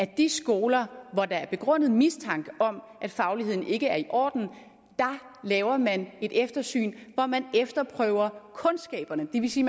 de skoler hvor der er begrundet mistanke om at fagligheden ikke er i orden laver et eftersyn hvor man efterprøver kundskaberne det vil sige